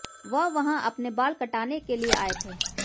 वह वहां अपने बाल कटाने के लिए आए थे